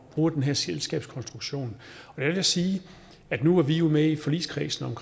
bruger den her selskabskonstruktion jeg kan sige at nu er vi jo med i forligskredsen